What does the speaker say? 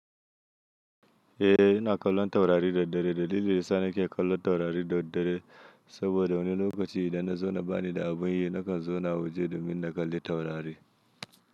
Eh, ina kallon taurari daddare. Dalili dayasa na ke kallon taurari daddare saboda wani lokaci idan na zauna bani da abin yi, nakan zauna waje domin na kalli taurari.